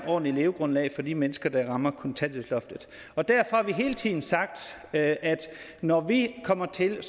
ordentligt levegrundlag for de mennesker der rammer kontanthjælpsloftet derfor har vi hele tiden sagt at når vi kommer til vil